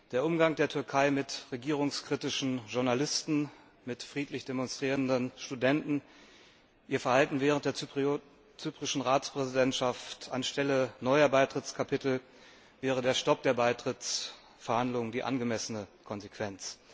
Der Umgang der Türkei mit regierungskritischen Journalisten, mit friedlich demonstrierenden Studenten, ihr Verhalten während der zyprischen Ratspräsidentschaft Anstelle neuer Beitrittskapitel wäre der Stopp der Beitrittsverhandlungen die angemessene Konsequenz.